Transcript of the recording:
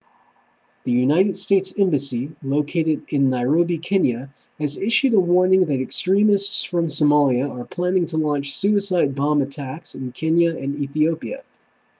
the united states embassy located in nairobi kenya has issued a warning that extremists from somalia are planning to launch suicide bomb attacks in kenya and ethiopia